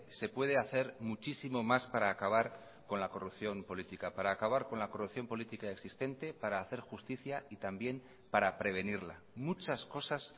se puede hacer muchísimo más para acabar con la corrupción política para acabar con la corrupción política existente para hacer justicia y también para prevenirla muchas cosas